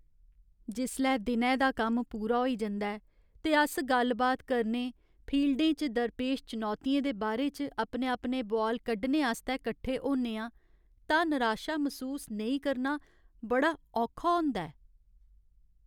जिसलै दिनै दा कम्म पूरा होई जंदा ऐ ते अस गल्ल बात करने, फील्डें च दरपेश चुनौतियें दे बारे च अपने अपने बुआल कड्ढने आस्तै कट्ठे होन्ने आं तां निराशा मसूस नेईं करना बड़ा औखा होंदा ऐ।